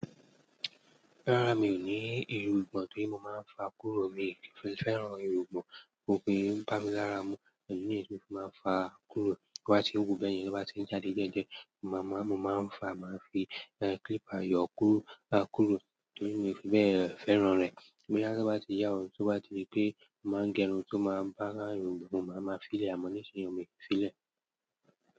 Rárá mi ò ní irùngbọ̀n tí mo máa ń fa kúrò. Mi fẹ́ràn irùngbọ̀n, kò pé ń bá mi lára mu, èyí ni èso tí mo máa ń fa kúrò. Bí wọ́n bá ti hù kú bẹ́ẹ̀ ni wọ́n bá ti jáde jẹ́jẹ́. Mo máa ń fa, màá fi clipper yọ kúrò kúrò torí mi fẹ́ràn rẹ̀. Bóyá tó bá ti yà ọ́, tó bá di pé, mo máa ń gẹrun tó máa ń bá a irùngbọ̀n, mo máa máa fi í lẹ̀, àmọ́ nísinsìnyí, ọmi fi í lẹ̀